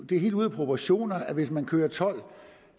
det er helt ude af proportioner at hvis man kører tolv